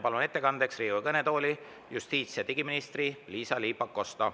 Palun ettekandjaks Riigikogu kõnetooli justiits- ja digiminister Liisa-Ly Pakosta.